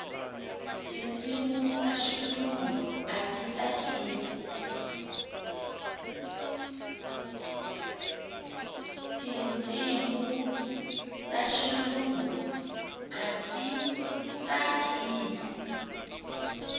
tinsimu ta xilungu a ti tsakisi